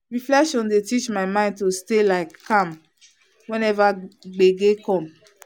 reflection dey teach my mind to stay like calm whenever gbege come.